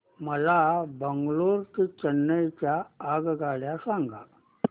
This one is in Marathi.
मला बंगळुरू ते चेन्नई च्या आगगाड्या सांगा